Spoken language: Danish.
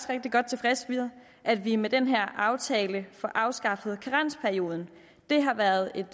rigtig godt tilfreds med at vi med den her aftale får afskaffet karensperioden det har været et